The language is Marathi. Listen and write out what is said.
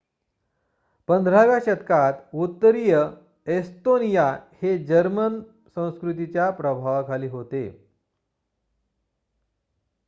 १५व्या शतकात उत्तरीय एस्तोनिया हे जर्मन संस्कृतीच्या प्रभावाखाली होते